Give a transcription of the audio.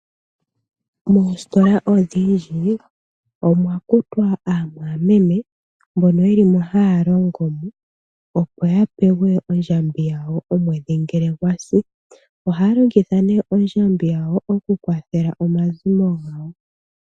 Moositola odhindji, omwa kutwa aamwameme mbono ye li mo haya longo mo. Opo ya pewe ondjambi yawo omwedhi ngele gwasi. Oha ya longitha nee ondjambi yawo oku kwathela omazimo gawo.